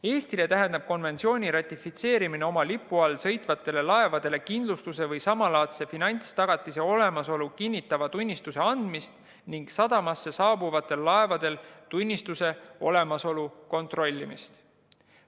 Eestile tähendab konventsiooni ratifitseerimine oma lipu all sõitvatele laevadele kindlustuse või samalaadse finantstagatise olemasolu kinnitava tunnistuse andmist ning sadamasse saabuvatel laevadel tunnistuse olemasolu kontrollimist.